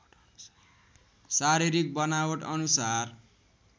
शारीरिक बनावट अनुसार